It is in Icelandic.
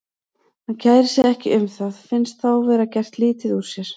Hann kærir sig ekki um það, finnst þá vera gert lítið úr sér.